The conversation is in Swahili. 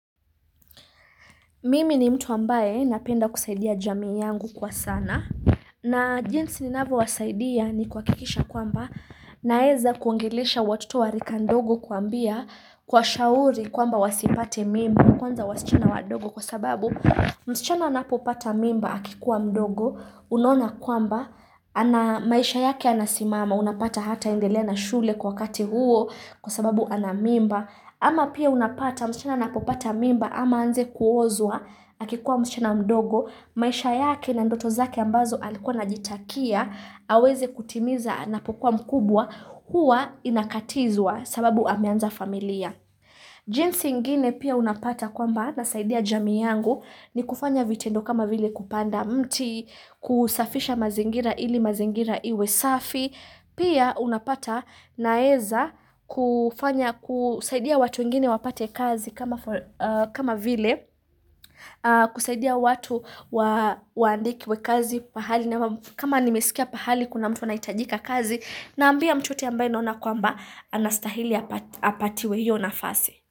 Mimi ni mtu ambaye napenda kusaidia jamii yangu kwa sana. Na jinsi ninavo wasaidia ni kuhakikisha kwamba naeza kuongelesha watoto wa rika ndogo kuwaambia kuwa shauri kwamba wasipate mimba. Kwanza wasichana wa ndogo kwa sababu msichana anapopata mimba akikuwa mdogo. Unaona kwamba ana maisha yake yanasimama unapata hataendelea na shule kwa wakati huo kwa sababu anamimba. Ama pia unapata msichana anapopata mimba ama aanze kuozwa, akikuwa msichana mdogo, maisha yake na ndoto zake ambazo alikuwa ana jitakia, aweze kutimiza anapokuwa mkubwa, huwa inakatizwa sababu ameanza familia. Jinsi ingine pia unapata kwamba nasaidia jamii yangu ni kufanya vitendo kama vile kupanda mti kusafisha mazingira ili mazingira iwe safi Pia unapata naeza kufanya kusaidia watu wengine wapate kazi kama kama vile kusaidia watu waandikwe kazi pahali kama nimeskia pahali kuna mtu ana hitajika kazi naambia mtu wote ambaye naona kwamba anastahili apatiwe hiyo nafasi.